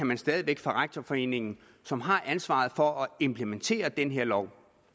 man stadig væk fra rektorforeningen som har ansvaret for at implementere den her lov